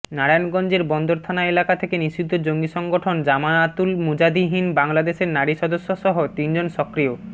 নারায়ণগঞ্জের বন্দর থানা এলাকা থেকে নিষিদ্ধ জঙ্গি সংগঠন জামাআতুল মুজাহিদীন বাংলাদেশের নারী সদস্যসহ তিনজন সক্রিয়